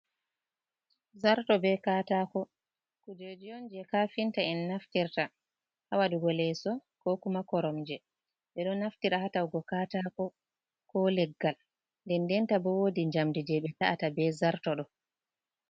Zarto be katako kujeji on je kafinta en naftirta ha waɗugo leso ko kuma koromje. Ɓe ɗo naftira ha ta'ugo katako ko leggal, ndenden ta bo wodi jamdi je ɓe ta’ata be zarto ɗo.